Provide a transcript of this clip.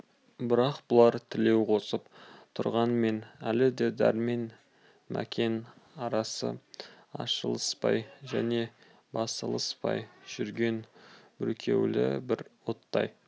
бірақ бұлар тілеу қосып тұрғанмен әлі де дәрмен мәкен арасы ашылыспай және басылыспай жүрген бүркеулі бір оттай